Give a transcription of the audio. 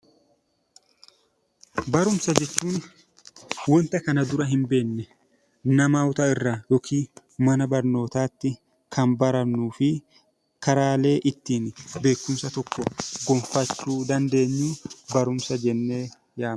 Barumsa jechuun wanta kana dura hin beekne namoota irraa yookiin mana barnootaatti kan barannuu fi karaalee ittiin beekumsa tokko gonfachuu dandeenyu 'Barumsa' jennee yaamna.